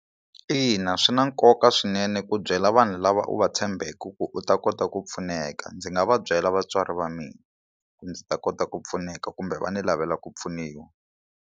Ina, swi na nkoka swinene ku byela vanhu lava u va tshembeke ku u ta kota ku pfuneka ndzi nga va byela vatswari va mina ku ndzi ta kota ku pfuneka kumbe va ni lavela ku pfuniwa.